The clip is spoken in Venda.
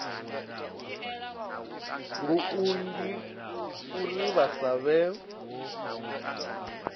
lunzhi uri vha sa vhe